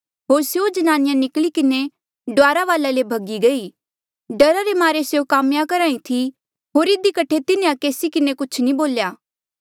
होर स्यों ज्नानिया निकली किन्हें डुआरा वाले ले भगी गयी डरा रे मारे स्यों काम्या करहा ई थी होर इधी कठे तिन्हें केसी किन्हें कुछ नी बोल्या